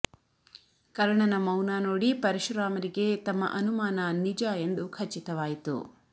ಕರ್ಣನ ಮೌನ ನೋಡಿ ಪರಶುರಾಮರಿಗೆ ತಮ್ಮ ಅನುಮಾನ ನಿಜ ಎಂದು ಖಚಿತವಾಯಿತು